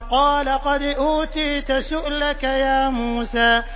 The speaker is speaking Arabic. قَالَ قَدْ أُوتِيتَ سُؤْلَكَ يَا مُوسَىٰ